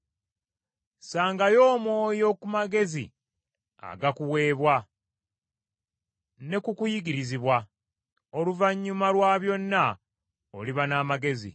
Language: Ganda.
Ssangayo omwoyo ku magezi agakuweebwa ne ku kuyigirizibwa, oluvannyuma lwa byonna oliba n’amagezi.